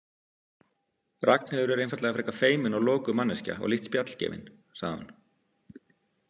Ragnheiður er einfaldlega frekar feimin og lokuð manneskja og lítt spjallgefin, sagði hún.